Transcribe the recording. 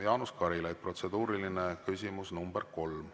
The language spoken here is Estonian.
Jaanus Karilaid, protseduuriline küsimus nr 3.